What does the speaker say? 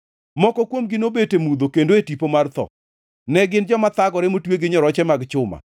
Moko kuomgi nobet e mudho, kendo e tipo mar tho, ne gin joma thagore motwe gi nyoroche mag chuma,